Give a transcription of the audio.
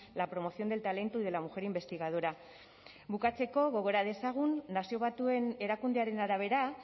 la promoción del talento y de la mujer investigadora bukatzeko gogora dezagun nazio batuen erakundearen arabera